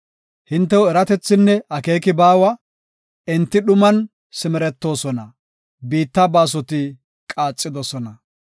Hintew eratethinne akeeki baawa; enti dhuman simeretoosona; biitta baasoti qaaxidosona.